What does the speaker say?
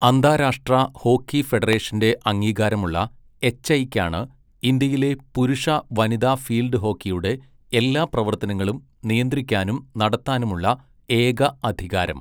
അന്താരാഷ്ട്ര ഹോക്കി ഫെഡറേഷന്റെ അംഗീകാരമുള്ള 'എച്ഐ'ക്കാണ് ഇന്ത്യയിലെ പുരുഷ, വനിതാ ഫീൽഡ് ഹോക്കിയുടെ എല്ലാ പ്രവർത്തനങ്ങളും നിയന്ത്രിക്കാനും നടത്താനുമുള്ള ഏക അധികാരം.